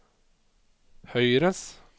høyres